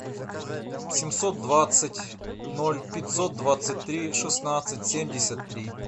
семьсот двадцать ноль пятьсот двадцать три шестнадцать семьдесят три